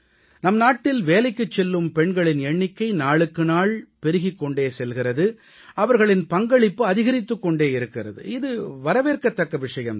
நம் நாட்டில் வேலைக்குச் செல்லும் பெண்களின் எண்ணிக்கை நாளுக்கு நாள் பெருகிக் கொண்டே செல்கிறது அவர்களின் பங்களிப்பு அதிகரித்துக் கொண்டே இருக்கிறது இது வரவேற்கத்தக்க விஷயம் தான்